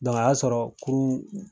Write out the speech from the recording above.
a y'a sɔrɔ kurun